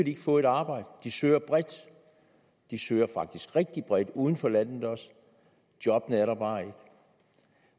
ikke få et arbejde de søger bredt de søger faktisk rigtigt bredt også uden for landet jobbene er der bare ikke